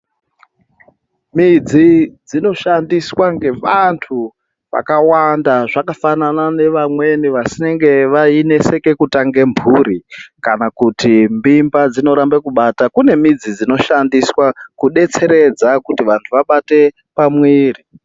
Midzii dzinoshandiswa ngevantu vakawanda zvakafanana nevamweni vaineseka kutanga mhuri kana kuti mimba dzinoramba kubata kune midzi dzonoshandiswa kudetseredza kuti vantu vabate pamwiri.